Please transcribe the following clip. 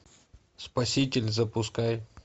спаситель запускай